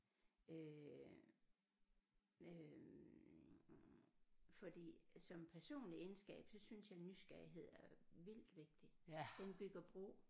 Øh øh fordi som personlig egenskab så synes jeg nysgerrighed er vildt vigtig den bygger bro